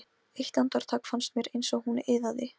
Eitt andartak fannst mér eins og hún iðaði.